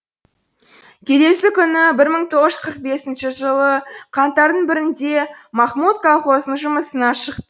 келесі күні бір мың тоғыз жүз қырық бесінші жылы қаңтардың бірінде махмут колхоздың жұмысына шық